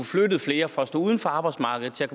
flyttet flere fra at stå uden for arbejdsmarkedet til at